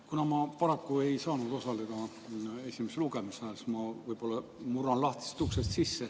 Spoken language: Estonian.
Kuna ma paraku ei saanud esimesel lugemisel osaleda, siis ma võib-olla murran sisse lahtisest uksest.